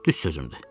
Düz sözümdür.